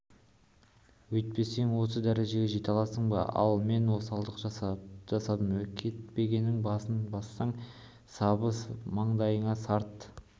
өйтпесең осы дәрежеге жете аласың ба ал мен осалдық жасадым кетпеннің басын бассаң сабы маңдайыңа сарт